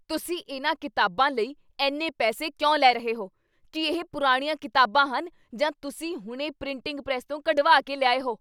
ਤੁਸੀਂ ਇਨ੍ਹਾਂ ਕਿਤਾਬਾਂ ਲਈ ਇੰਨੇ ਪੈਸੇ ਕਿਉਂ ਲੈ ਰਹੇ ਹੋ? ਕੀ ਇਹ ਪੁਰਾਣੀਆਂ ਕਿਤਾਬਾਂ ਹਨ ਜਾਂ ਤੁਸੀਂ ਹੁਣੇ ਪ੍ਰਿੰਟਿੰਗ ਪ੍ਰੈੱਸ ਤੋਂ ਕਢਵਾ ਕੇ ਲਿਆਏ ਹੋ?